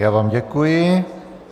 Já vám děkuji.